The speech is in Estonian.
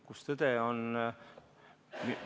Kus tõde on?